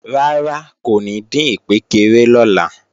Rárá kò ní dín ìkpékeré lọ́la